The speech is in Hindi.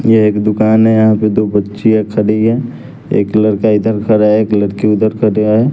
ये एक दुकान है यहाँ पे दो बच्चियाँ खड़ी हैं एक लड़का इधर खड़ा है एक लड़की उधर खड़ा है।